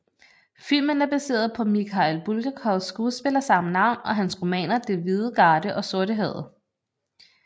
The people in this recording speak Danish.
Filmen er baseret på Mikhail Bulgakovs skuespil af samme navn og hans romaner Den hvide garde og Sortehavet